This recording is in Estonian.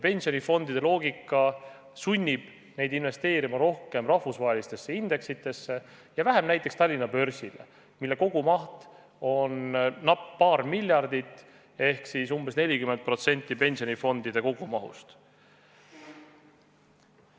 Pensionifondide loogika sunnib neid investeerima rohkem rahvusvahelistesse indeksitesse ja vähem näiteks Tallinna börsile, mille kogumaht on napp paar miljardit ehk siis umbes 40% pensionifondide kogumahust.